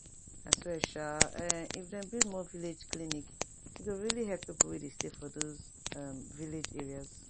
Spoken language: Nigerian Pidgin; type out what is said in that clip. i swear [um][um]if dem build more village clinic e go really help pipo wey dey stay for those um village areas